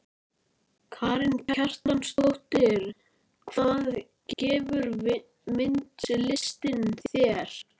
Karen Kjartansdóttir: Hvað gefur myndlistin þér?